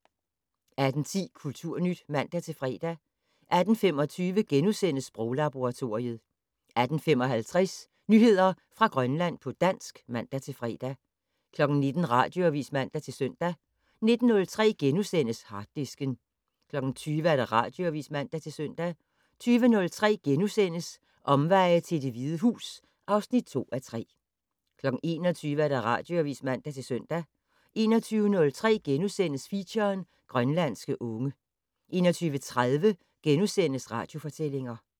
18:10: Kulturnyt (man-fre) 18:25: Sproglaboratoriet * 18:55: Nyheder fra Grønland på dansk (man-fre) 19:00: Radioavis (man-søn) 19:03: Harddisken * 20:00: Radioavis (man-søn) 20:03: Omveje til Det Hvide Hus (2:3)* 21:00: Radioavis (man-søn) 21:03: Feature: Grønlandske unge * 21:30: Radiofortællinger *